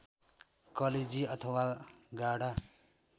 कलेजी अथवा गाढा